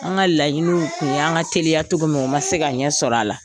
An ka laɲiniw tun y 'an bƐ se ka teliya cogo min o ma se ka ɲɛ sɔrɔ a la.